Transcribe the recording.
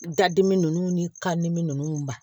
Dadimi ni ka dimi ninnu ba